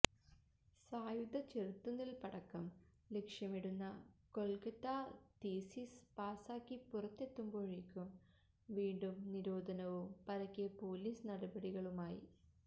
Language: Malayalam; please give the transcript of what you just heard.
സായുധ ചെറുത്തുനില്പ്പടക്കം ലക്ഷ്യമിടുന്ന കൊല്ക്കത്താ തീസിസ് പാസാക്കി പുറത്തെത്തുമ്പോഴേക്കും വീണ്ടും നിരോധനവും പരക്കെ പോലീസ് നടപടികളുമായി